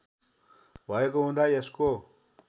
भएको हुँदा यसको